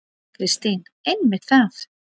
Kristín: Einmitt það.